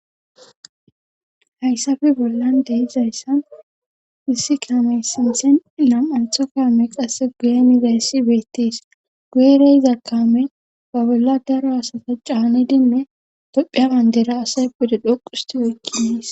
hayssafe bollan de'izayssan issi kamey sinthen nam7antho kaamey qasse guye dizayssi beettis guyerey iza kaame ba bolla daro asata caani dinne dophiya bandera asay pude dhoqusti oykkiniis